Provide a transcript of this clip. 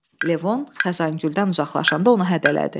Levon Xəzəngüldən uzaqlaşanda onu hədələdi: